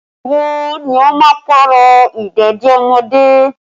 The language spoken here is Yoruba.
Ìgbà wo ni o máa Pààrọ̀ ìdèdí ọmọdé?